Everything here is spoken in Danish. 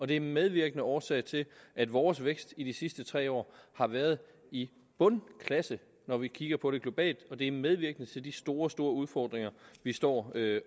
det er en medvirkende årsag til at vores vækst i de sidste tre år har været i bundklasse når vi kigger på det globalt og det er medvirkende til de store store udfordringer vi står